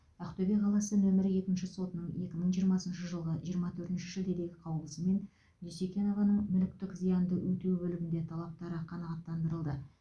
ақтөбе қаласы нөмірі екінші сотының екі мың жиырмасыншы жылғы жиырма төртінші шілдедегі қаулысымен дюсекенованың мүліктік зиянды өтеу бөлігінде талаптары қанағаттандырылды